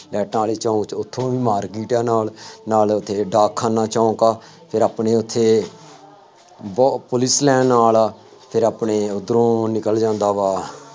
ਲਾਈਟਾਂ ਵਾਲੇ ਚੌਂਕ ਚ ਉੱਥੋ ਵੀ market ਆ ਨਾਲ, ਨਾਲ ਉੱਥੇ ਡਾਕਖਾਨਾ ਚੌਂਕ ਆ, ਫੇਰ ਆਪਣੇ ਉੱਥੇ ਬਹੁਤ ਪੁਲਿਸ ਲਾਈਨ ਨਾਲ ਆ, ਫੇਰ ਆਪਣੇ ਉੱਧਰੋਂ ਨਿਕਲ ਜਾਂਦਾ ਵਾ,